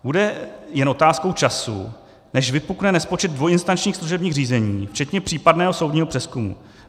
Bude jen otázkou času, než vypukne nespočet dvojinstančních služebních řízení včetně případného soudního přezkumu.